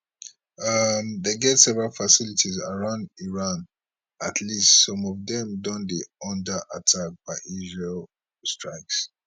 um dem get several facilities around iran at least some of dem don dey under attack by israeli strikes